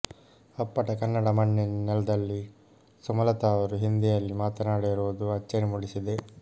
ಅಪ್ಪಟ ಕನ್ನಡ ಮಣ್ಣಿನ ನೆಲದಲ್ಲಿ ಸುಮಲತಾ ಅವರು ಹಿಂದಿಯಲ್ಲಿ ಮಾತನಾಡಿರುವುದು ಅಚ್ಚರಿ ಮೂಡಿಸಿದೆ